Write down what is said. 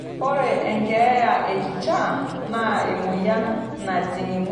Ore enkeeya e kishaa naa emoyian najing' ng'wesi tenebo iltung'ana.